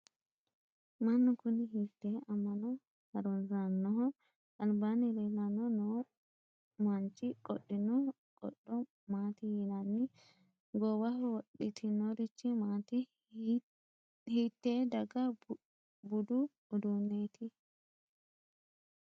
mannu kuni hiittee amma'no harunsannoho? albaanni leellanni noo manchi qodhino qodho maati yinanni? goowaho wodhitinorichi maati? hiitte daga budu uddanooti?